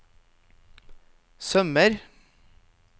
sømmer